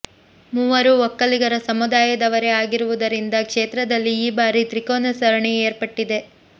ಮೂವರೂ ಒಕ್ಕಲಿಗರ ಸಮುದಾಯದವರೇ ಆಗಿರುವುದರಿಂದ ಕ್ಷೇತ್ರದಲ್ಲಿ ಈ ಬಾರಿ ತ್ರಿಕೋನ ಸರಣಿ ಏರ್ಪಟ್ಟಿದೆ